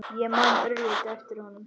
Ég man örlítið eftir honum.